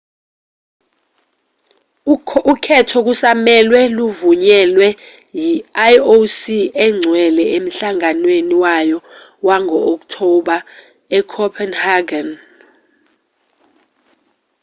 ukhetho kusamelwe luvunyelwe yi-ioc engcwele emhlanganweni wayo wango-okthoba ecopenhagen